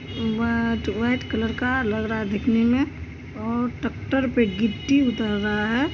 वाट- white colour का लग रहा है दिखने मे और टैक्टर पे गिट्टी उतर रहा है।